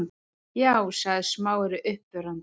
Já- sagði Smári uppörvandi.